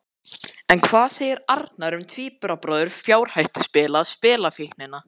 En hvað segir Arnar um tvíburabróður fjárhættuspila, spilafíknina?